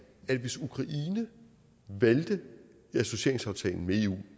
at hvis ukraine valgte associeringsaftalen med eu